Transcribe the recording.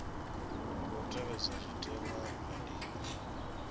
khou tevhedzwa zwitenwa zwa ndima